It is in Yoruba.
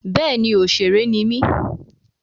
Bẹ́ẹ̀ni òṣèré ni mí.